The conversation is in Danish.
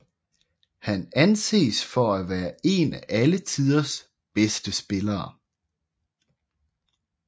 Han anses for at være en af alle tiders bedste spillere